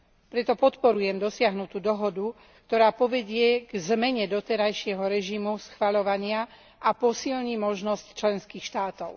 Preto podporujem dosiahnutú dohodu, ktorá povedie k zmene doterajšieho režimu schvaľovania a posilní možnosť členských štátov.